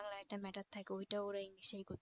বাংলায় একটা matter থাকে ওইটা ওরা english এই করে